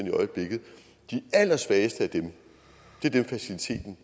i øjeblikket de allersvageste af dem er dem faciliteten